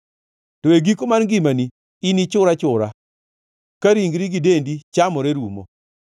To e giko mar ngimani inichur achura, ka ringri gi dendi chamore rumo.